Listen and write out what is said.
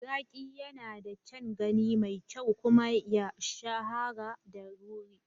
Zaki yana da kyan gani mai kyau kuma ya shahara da ruri.